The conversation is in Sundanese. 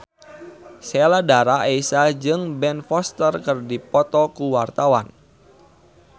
Sheila Dara Aisha jeung Ben Foster keur dipoto ku wartawan